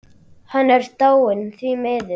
Hann er dáinn, því miður.